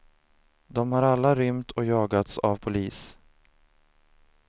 De har alla rymt och jagats av polis.